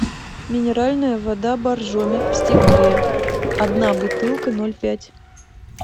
минеральная вода боржоми в стекле одна бутылка ноль пять